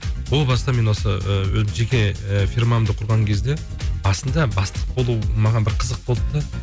о баста мен осы ы жеке і фирмамды құрған кезде басында бастық болу маған бір қызық болды да